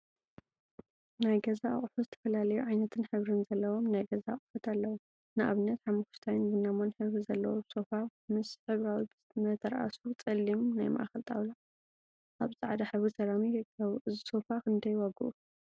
ናይ ገዛ አቁሑ ዝተፈላለዩ ዓይነትን ሕብሪን ዘለዎም ናይ ገዛ አቁሑ አለው፡፡ ንአብነት ሓመኩሽታይን ቡናማን ሕብሪ ዘለዎ ሶፋ ምስ ሕብራዊ መተርአሱ ፀሊም ናይ ማእከል ጣውላ አብ ፃዕዳ ሕብሪ ሰራሚክ ይርከቡ፡፡ እዚ ሶፋ ክንደይ ዋግኡ?